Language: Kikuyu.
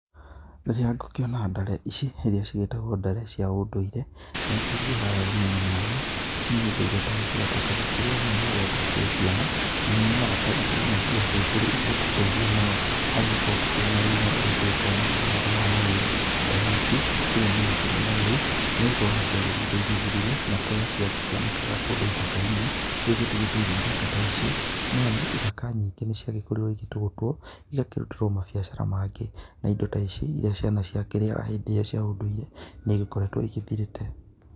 Rĩrĩa ngũkĩona ndare ici iria cigĩtagwo ndare cia ũndũire nĩngĩ iguaga wega nĩamu ici ni indo twakoretwo tũgĩkĩrĩa mũno rĩrĩa twakĩrĩ ciana na nĩ nyonaga indo imwe irĩa ciagĩkorirwo igĩtũteitha mũno harĩ gũkorwo tũkĩrĩ na ũgima ũrĩa tũgĩkoragwo nagũo mwega wa mwĩrĩ, ndare ici citikĩrĩ nyoneki mũno rĩu nĩ gũkorwo nĩ cia gĩthire igĩthirĩire na kũrĩa ciakĩonekaga kũndũ gĩthaka-inĩ rĩu gũtigĩtũire ithaka ta icio nĩamu ithaka nyingĩ nĩ cia gĩkorirwo igĩtũgũtwo igakĩrutĩrwo mambiacara mangĩ na indo ta ici irĩa ciana cia kĩrĩaga hĩndĩ ĩyo cia ũndũire nĩ igĩkoretwo igĩthirĩte.